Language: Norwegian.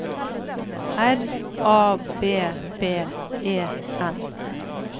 R A B B E N